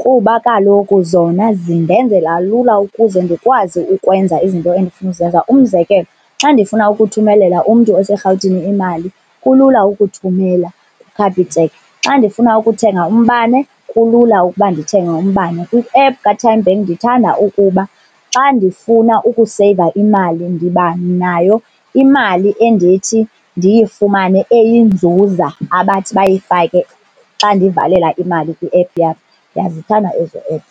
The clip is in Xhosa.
kuba kaloku zona zindenzela lula ukuze ndikwazi ukwenza izinto endifuna uzenza. Umzekelo, xa ndifuna ukuthumelela umntu oseRhawutini imali kulula ukuthumela kuCapitec. Xa ndifuna ukuthenga umbane kulula ukuba ndithenge umbane. Kwi-app kaTymeBank ndithanda ukuba xa ndifuna ukuseyiva imali ndiba nayo imali endithi ndiyifumane eyinzuza abathi bayifake xa ndivalela imali kwi-app yabo. Ndiyazithanda ezo app.